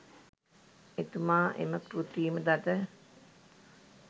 එතුමා එම කෘතිම දත